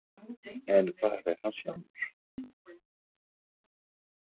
En hvar er hann sjálfur?